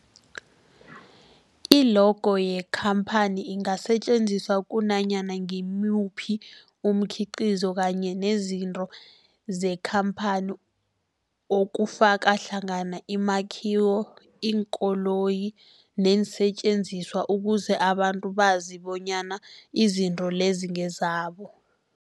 I-logo yekhamphani ingasetjenziswa kunanyana ngimuphi umkhiqizo kanye nezinto zekhamphani okufaka hlangana imakhiwo, iinkoloyi neensentjenziswa ukuze abantu bazi bonyana izinto lezo ngezabo.